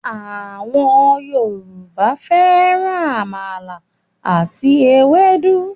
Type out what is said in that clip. àwọn Yorùbá fẹràn àmàlà ati Ewédú